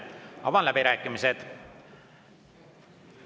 Avan läbirääkimised.